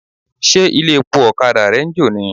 Ṣé ilé-epo ọ̀kadà rẹ ń jò ni?